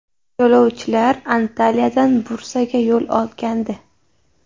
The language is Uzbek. Yo‘lovchilar Antaliyadan Bursaga yo‘l olgandi.